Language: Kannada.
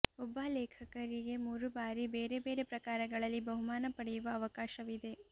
ಒಬ್ಬ ಲೇಖಕರಿಗೆ ಮುರು ಬಾರಿ ಬೇರೆ ಬೇರೆ ಪ್ರಕಾರಗಳಲ್ಲಿ ಬಹುಮಾನ ಪಡೆಯುವ ಅವಕಾಶವಿದೆ